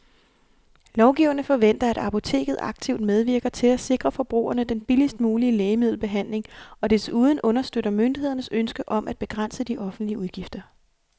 Lovgiverne forventer, at apoteket aktivt medvirker til at sikre forbrugerne den billigst mulige lægemiddelbehandling og desuden understøtter myndighedernes ønske om at begrænse de offentlige udgifter.